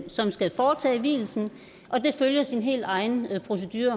som skal foretage vielsen og det følger sin helt egen procedure